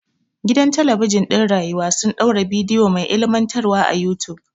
Gidan talabijin ɗin rayuwa sun ɗaura bidiyo mai ilimantarwa a yutub.